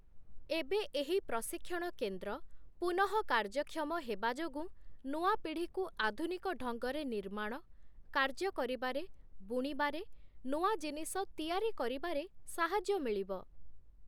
ଏବେ ଏହି ପ୍ରଶିକ୍ଷଣ କେନ୍ଦ୍ର ପୁନଃକାର୍ଯ୍ୟକ୍ଷମ ହେବାଯୋଗୁଁ ନୂଆ ପିଢ଼ିକୁ ଆଧୁନିକ ଢଙ୍ଗରେ ନିର୍ମାଣ, କାର୍ଯ୍ୟ କରିବାରେ, ବୁଣିବାରେ, ନୂଆ ଜିନିଷ ତିଆରି କରିବାରେ ସାହାଯ୍ୟ ମିଳିବ ।